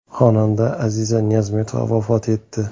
Xonanda Aziza Niyozmetova vafot etdi.